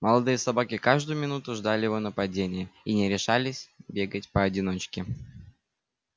молодые собаки каждую минуту ждали его нападения и не решались бегать поодиночке